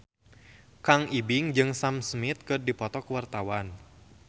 Kang Ibing jeung Sam Smith keur dipoto ku wartawan